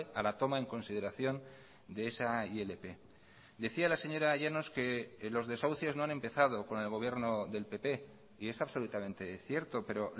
a la toma en consideración de esa ilp decía la señora llanos que los desahucios no han empezado con el gobierno del pp y es absolutamente cierto pero